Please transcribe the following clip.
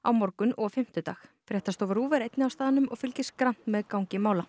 á morgun og fimmtudag fréttastofa RÚV er einnig á staðnum og fylgist grannt með gangi mála